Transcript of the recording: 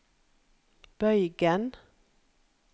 bøygen